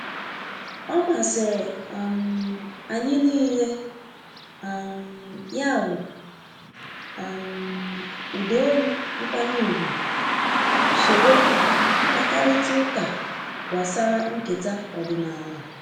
Ọmasiri um anyị nile um ya wụ um ụda olu nkwanye ùgwù soro mkpakarịta ụka gbasara nketa ọdịnala.